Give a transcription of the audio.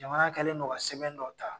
Jamana kɛlen do ka sɛbɛn dɔ ta